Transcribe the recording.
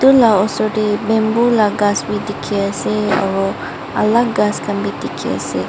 ula usor te bamboo la ghas b dekhi ase aru alag ghass khan bi dekhi ase.